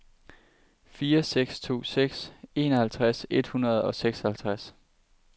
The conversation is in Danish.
fire seks to seks enoghalvtreds et hundrede og seksoghalvtreds